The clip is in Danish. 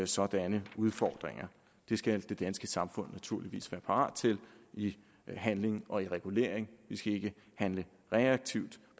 sådanne udfordringer det skal det danske samfund naturligvis være parat til i handling og i regulering vi skal ikke handle reaktivt